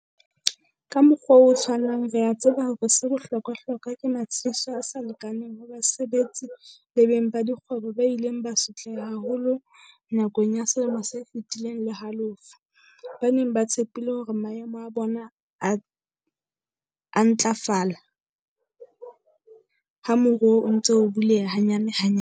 Ka mokgwa o tshwanang re a tseba hore 'se bohlokwahlokwa' ke matshediso a sa lekaneng ho basebetsi le beng ba dikgwebo ba ileng ba sotleha haholo nakong ya selemo se feti leng le halofo, ba neng ba tshepile hore maemo a bona a ntlafala ha moruo o ntse o buleha hanyanehanyane.